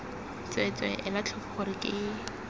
tsweetswee ela tlhoko gore ke